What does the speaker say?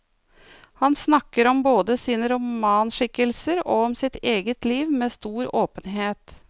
Han snakker om både sine romanskikkelser og om sitt eget liv med stor åpenhet.